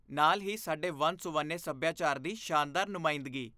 ਨਾਲ ਹੀ, ਸਾਡੇ ਵੰਨ ਸੁਵੰਨੇ ਸੱਭਿਆਚਾਰ ਦੀ ਸ਼ਾਨਦਾਰ ਨੁਮਾਇੰਦਗੀ